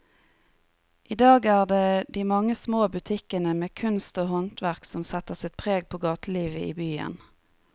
I dag er det de mange små butikkene med kunst og håndverk som setter sitt preg på gatelivet i byen.